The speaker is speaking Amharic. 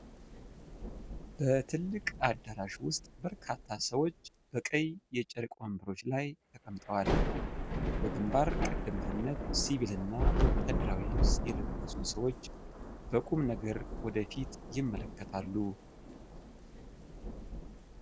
በትልቅ አዳራሽ ውስጥ በርካታ ሰዎች በቀይ የጨርቅ ወንበሮች ላይ ተቀምጠዋል። በግንባር ቀደምትነት ሲቪል እና ወታደራዊ ልብስ የለበሱ ሰዎች በቁም ነገር ወደ ፊት ይመለከታሉ።